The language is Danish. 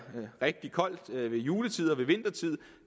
rigtig koldt ved juletid og ved vintertid